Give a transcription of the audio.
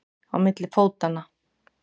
Á milli fótanna.